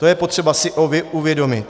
To je potřeba si uvědomit.